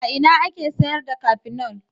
A ina ake sayar da Kafinol.